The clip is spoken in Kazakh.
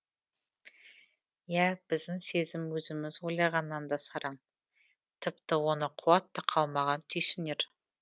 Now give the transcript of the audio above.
иә біздің сезім өзіміз ойлағаннан да сараң тіпті оны қуат та қалмаған түйсінер